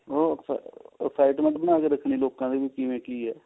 ਉਹ excitement ਬਣਾ ਕੇ ਰੱਖਣੀ ਲੋਕਾਂ ਚ ਵੀ ਕਿਵੇਂ ਕੀ ਹੈ